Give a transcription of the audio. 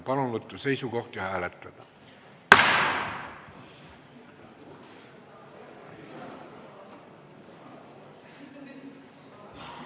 Palun võtta seisukoht ja hääletada!